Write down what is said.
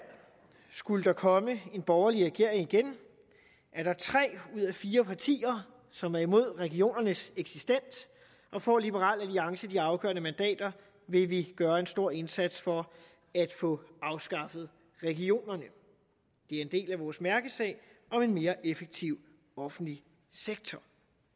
skulle der igen komme en borgerlig regering at der er tre ud af fire partier som er imod regionernes eksistens og får liberal alliance de afgørende mandater vil vi gøre en stor indsats for at få afskaffet regionerne det er en del af vores mærkesag om en mere effektiv offentlig sektor